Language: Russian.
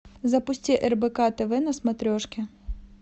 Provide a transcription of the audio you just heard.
запусти рбк тв на смотрешке